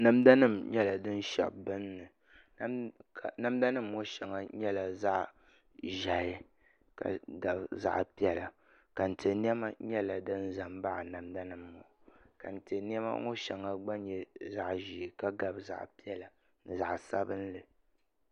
Namda nim nyɛla din shɛbi binni namda nim ŋɔ shɛŋa nyɛla zaɣ ʒiɛhi ka gabi zaɣ piɛla kɛntɛ niɛma nyɛla din ʒɛ n baɣa namda nim ŋɔ kɛntɛ niɛma ŋɔ shɛŋa gba nyɛ zaɣ ʒiɛ ka gabi zaɣ piɛla ni zaɣ sabinli